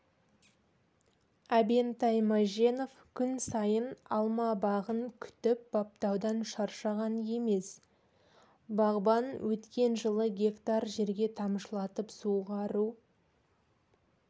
әбентай мәженов күн сайын алма бағын күтіп-баптаудан шаршаған емес бағбан өткен жылы гектар жерге тамшылатып суғару